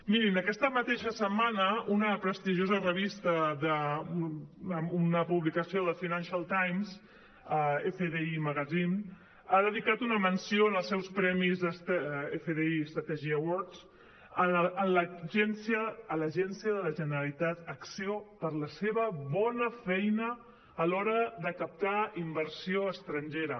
mirin aquesta mateixa setmana una prestigiosa revista una publicació del financial times ha dedicat una menció en els seus premis fdi strategy awards a l’agència de la generalitat acció per la seva bona feina a l’hora de captar inversió estrangera